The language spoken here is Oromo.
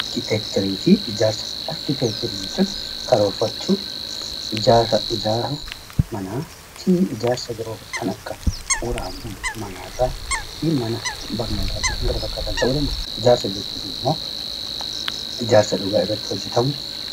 Arkiteekcherii fi Ijaarsa: Arkiteekcherii jechuun karoorfachuu, ijaaruu manaa fi ijaarsa biroo kan akka bu'uura manaarraa fi mana barnootaa di kan kana fakkaatan ta'uu ni danda’a. Ijaarsa jechuun immoo ijaarsa dhugaa irratti hojjetamu...